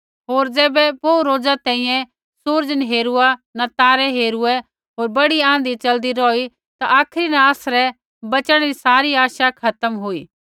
होर ज़ैबै बोहू रोज़ा तैंईंयैं सूरज़ नी हेरूआ न तारै हेरूऐ होर बड़ी आँधी च़लदी रौही ता आखरी न आसरै बच़णै री सारी आशा खत्म हुई